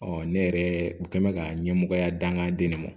ne yɛrɛ u kɛ mɛ ka ɲɛmɔgɔya danganden ne ma